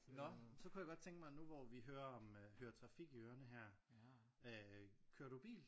Nå så kunne jeg godt tænke mig at nu hvor vi hører om øh hører trafik i ørerne her øh kører du bil?